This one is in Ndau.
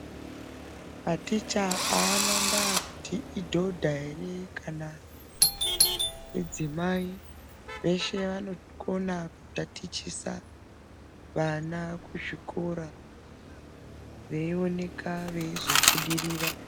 Maticha aana basa kuti idhodha ere kana kuti mudzimai veshe vanokona ku tatichisa vana ku zvikora veyi oneka veizo budirira.